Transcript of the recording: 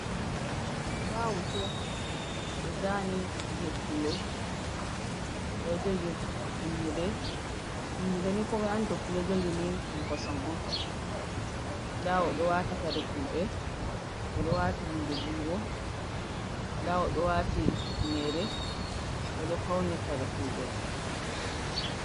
Nɗa hoto ɓe zani je pulo oɗo jogi tummude tummude ni komai andi to pullo ɗo jogini ni ɗum kosam on nda oɗo wati kare fulɓe, o ɗo wati hunde jungo, nda odo wati finere oɗo fauni kare fulbe.